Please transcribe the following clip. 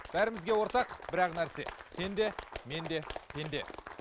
бәрімізге ортақ бір ақ нәрсе сен де мен де пенде